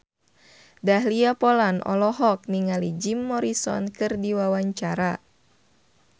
Dahlia Poland olohok ningali Jim Morrison keur diwawancara